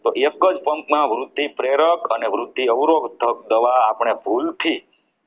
તો એક જ pump માં વૃદ્ધિ પ્રેરિત અને વૃદ્ધિ અવરોધક દવા આપણે ભૂલથી